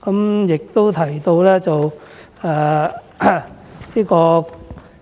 他亦提到